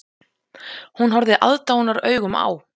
Hún horfði aðdáunaraugum á